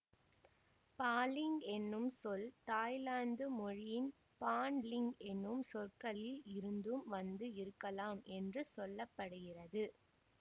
பாலிங் எனும் சொல் தாய்லாந்து மொழியின் பான் லிங் எனும் சொற்களில் இருந்தும் வந்து இருக்கலாம் என்று சொல்ல படுகிறது